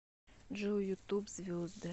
джой ютуб звезды